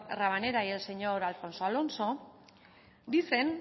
rabanera y el señor alfonso alonso dicen